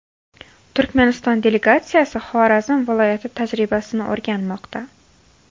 Turkmaniston delegatsiyasi Xorazm viloyati tajribasini o‘rganmoqda.